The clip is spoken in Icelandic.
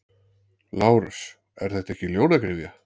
LÁRUS: Er þetta ekki ljónagryfja?